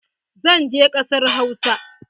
Zan je ƙasar Hausa.